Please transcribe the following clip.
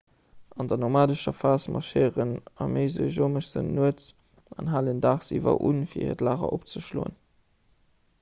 an der nomadescher phas marschéieren arméiseejomessen nuets an halen daagsiwwer un fir hiert lager opzeschloen